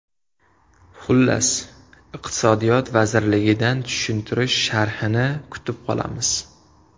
Xullas, iqtisodiyot vazirligidan tushuntirish sharhini kutib qolamiz.